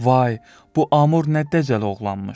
Vay, bu Amur nə dəcəl oğlanmış!